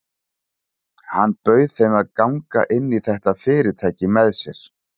Hann bauð þeim að ganga inn í þetta fyrirtæki með sér.